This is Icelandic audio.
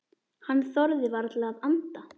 Hann þorði varla að anda.